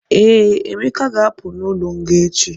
Ee, Emeka ga-apụ n'ụlọ nga echi.